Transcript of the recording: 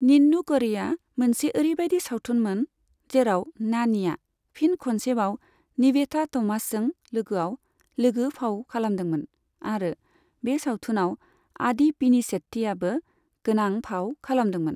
निन्नु करी'आ मोनसे ओरैबायदि सावथुनमोन, जेराव नानीआ फिन खनसेबाव निवेथा थमासजों लोगोआव लोगो फाव खालामदोंमोन आरो बे सावथुनाव आदि पिनिसेट्टीआबो गोनां फाव खालामदोंमोन।